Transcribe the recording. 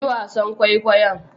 Yi wasan kwaikwayon.